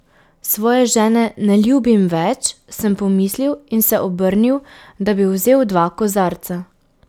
Svoje žene ne ljubim več, sem pomislil in se obrnil, da bi vzel dva kozarca.